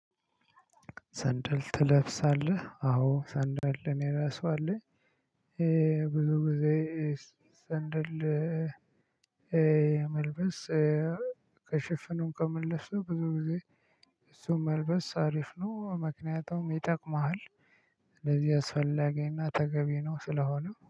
ሰንደል ትለብሳለህ አዎ ሰንደል አኔ ራሱ አለ። ብዙ ጊዜ ሰንደል የመልበስ ከ ሽፍኑም ከመልበሱ ብዙ ጊዜ እሱን መልበስ አሪፍ ነው። ምክንያቱም ይጠቅምሃል። ስለዚህ አስፈላጊና ተገቢ ነው ስለሆነ